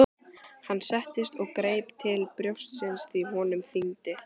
Allar ástarjátningarnar sem voru krotaðar á hann, klámið, hljómsveitirnar.